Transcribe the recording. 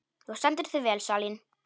Þú stendur þig vel, Salín!